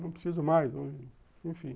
Não preciso mais, enfim.